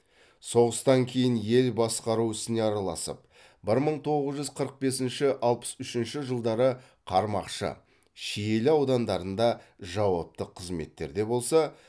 соғыстан кейін ел басқару ісіне араласып бір мың тоғыз жүз қырық бесінші алпыс үшінші жылдары қармақшы шиелі аудандарында жауапты қызметтерде болса